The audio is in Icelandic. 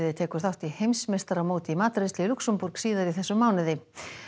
tekur þátt í heimsmeistaramóti í matreiðslu í Lúxemborg síðar í þessum mánuði